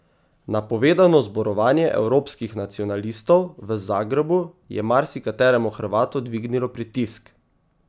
Napovedano zborovanje evropskih nacionalistov v Zagrebu je marsikateremu Hrvatu dvignilo pritisk.